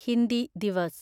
Hindi Divas